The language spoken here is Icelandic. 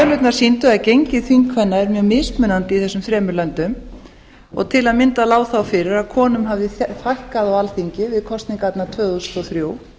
tölurnar sýndu að gengi þingkvenna er mjög mismunandi í þessum þremur löndum og til að mynda lá þá fyrir að konum hafði fækkað á alþingi við kosningarnar tvö þúsund og þrjú